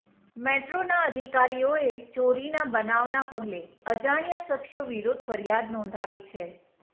મેટ્રોના અધિકારીઓએ ચોરીના બનાવના પગલે અજાણ્યા શખ્સો વિરુદ્ધ ફરિયાદ નોંધાવી છે